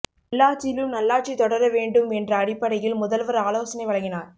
உள்ளாட்சியிலும் நல்லாட்சி தொடர வேண்டும் என்ற அடிப்படையில் முதல்வர் ஆலோசனை வழங்கினார்